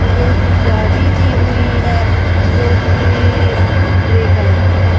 एक जाली दी हुई है जो कि ग्रे कलर की है।